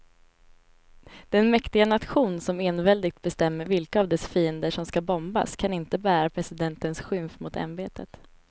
Den mäktiga nation som enväldigt bestämmer vilka av dess fiender som ska bombas kan inte bära presidentens skymf mot ämbetet.